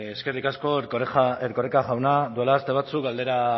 eskerrik asko erkoreka jauna duela aste batzuk galdera